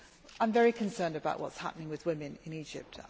I am very concerned about what is happening with women in Egypt.